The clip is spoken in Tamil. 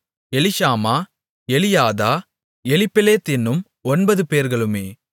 எலிஷாமா எலியாதா எலிப்பெலேத் என்னும் ஒன்பதுபேர்களுமே